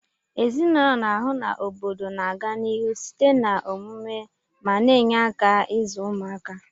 Ezinụlọ n'ahu na obodo na aga n'ihu site na omumu ma na enye aka izu ụmaka